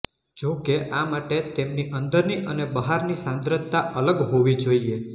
જો કે આ માટે તેમની અંદરની અને બહારની સાંદ્રતા અલગ હોવી જોઇએ